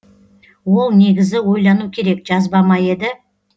ол негізі ойлану керек жазба ма еді